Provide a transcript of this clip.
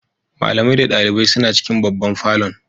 Malamai da dalibai suna cikin babban falon.